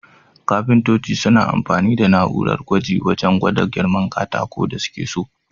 Kafintoci suna amfani da na'urar gwaji wajan gwada girman katakun da suke so.